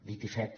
dit i fet